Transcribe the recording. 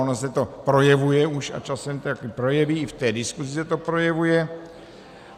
Ono se to projevuje už a časem také projeví, i v té diskusi se to projevuje.